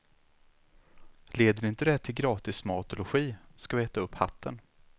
Leder inte det till gratis mat och logi ska vi äta upp hatten.